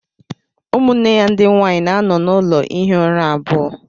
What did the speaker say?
Ụmụnne ya ndị nwanyị na-anọ n'ụlọ ihi ụra abụọ